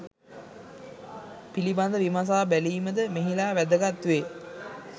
පිළිබඳ විමසා බැලීමද මෙහිලා වැදගත් වේ.